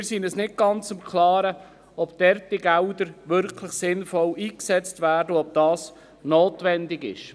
Wir sind uns zudem nicht ganz im Klaren, ob die Gelder dort wirklich sinnvoll eingesetzt werden und ob dies notwendig ist.